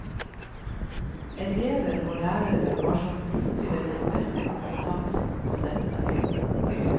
Elever og lærere har som brukere den beste kompetansen på dette.